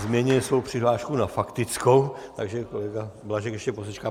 změnil svou přihlášku na faktickou, takže kolega Blažek ještě posečká.